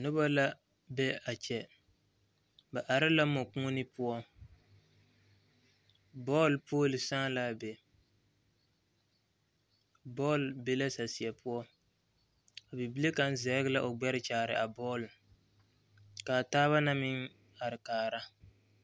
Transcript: Noba la be a kyɛ ba are la mɔkuoni poɔ bɔɔl pooli sàà la a be bɔl be la saseɛ poɔ bibile kaŋ sege la o gbɛre kyaare a bɔlkaa gaana naŋ meŋ are kaara